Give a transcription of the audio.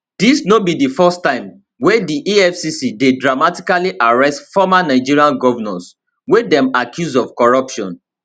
dis no be di first time wey di efcc dey dramatically arrest former nigerian govnors wey dem accuse of corruption